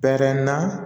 Bɛrɛ na